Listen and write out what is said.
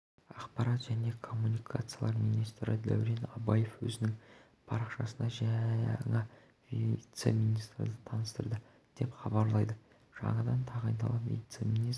ақпарат және коммуникациялар министрі дәурен абаев өзінің парақшасында жаңа вице-министрді таныстырды деп хабарлайды жаңадан тағайындалған вице-министр